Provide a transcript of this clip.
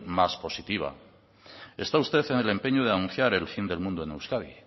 más positiva está usted en el empeño de anunciar el fin del mundo en euskadi